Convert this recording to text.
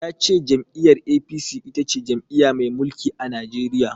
Ya ce jam'iyyar A.P.C itace jam'iya mai mulki a Najeriya.